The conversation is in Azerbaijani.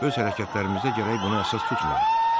Öz hərəkətlərimizə gərək buna əsas tutmayaq.